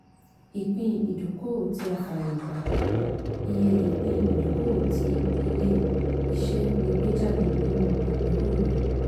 ìpín-ìdókòwò tí a fààyè gbà - ìye ìpín-ìdókòwò tí ilé-iṣẹ́ lè gbé jáde nínú àpérò rẹ̀.